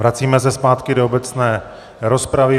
Vracíme se zpátky do obecné rozpravy.